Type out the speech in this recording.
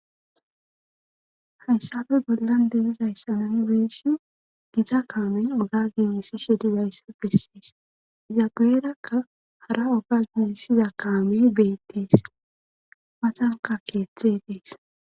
Hayssafe bollan de7Izayssa nuni be7eshin giita kaamen oga giigissishe dizayssa bessees iza geerakka hara oga giigisiza kaami beettees matanka keeththe dees.